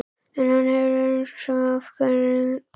En hann hefur afsökun, mikla afsökun.